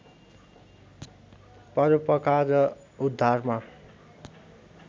परोपकार र उद्धारमा